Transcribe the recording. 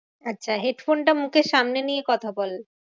আচ্ছা head phone টা মুখের সামনে নিয়ে কথা বল।